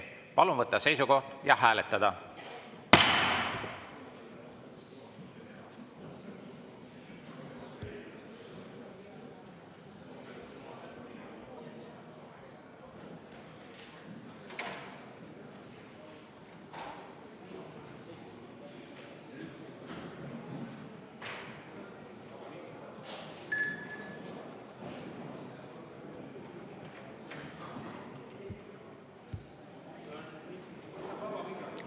Palun võtta seisukoht ja hääletada!